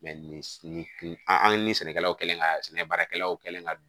nin an ni sɛnɛkɛlaw kɛlen ka sɛnɛ baarakɛlaw kɛlen ka